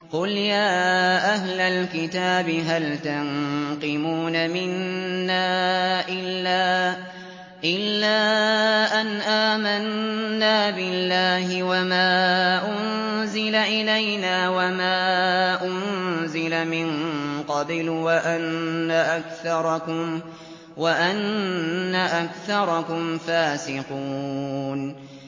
قُلْ يَا أَهْلَ الْكِتَابِ هَلْ تَنقِمُونَ مِنَّا إِلَّا أَنْ آمَنَّا بِاللَّهِ وَمَا أُنزِلَ إِلَيْنَا وَمَا أُنزِلَ مِن قَبْلُ وَأَنَّ أَكْثَرَكُمْ فَاسِقُونَ